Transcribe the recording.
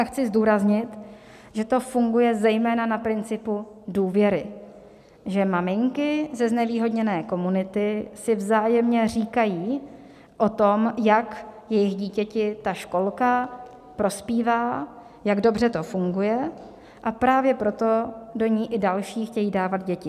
A chci zdůraznit, že to funguje zejména na principu důvěry, že maminky ze znevýhodněné komunity si vzájemně říkají o tom, jak jejich dítěti ta školka prospívá, jak dobře to funguje, a právě proto do ní i další chtějí dávat děti.